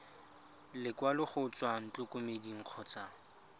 lekwalo go tswa ntlokemeding kgotsa